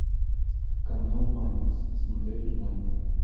канал маникс смотреть онлайн